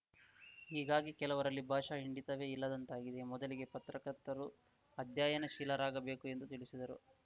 ಹೀಗಾಗಿ ಕೆಲವರಲ್ಲಿ ಭಾಷಾ ಹಿಂಡಿತವೇ ಇಲ್ಲದಂತಾಗಿದೆ ಮೊದಲಿಗೆ ಪತ್ರಕರ್ತರು ಅಧ್ಯಯನಶೀಲರಾಗ ಬೇಕು ಎಂದು ತಿಳಿಸಿದರು